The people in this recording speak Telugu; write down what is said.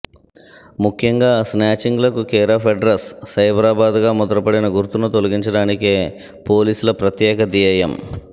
ముఖ్యంగా స్నాచింగ్ లకు కేరాఫ్ అడ్రస్ సైబరాబాద్ గా ముద్ర పడిన గుర్తును తొలగించడానికే పోలీసుల ప్రత్యేక ధ్యేయం